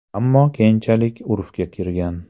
Ammo keyinchalik urfga kirgan.